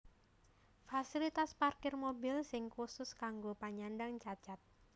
Fasilitas parkir mobil sing khusus kanggo panyandang cacat